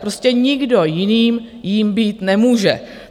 Prostě nikdo jiný jím být nemůže.